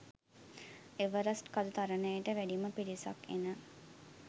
Everest කඳු තරණයට වැඩිම පිරිසක් එන